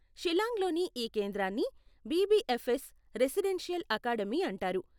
షిల్లాంగ్లోని ఈ కేంద్రాన్ని BBFS residential academy అంటారు.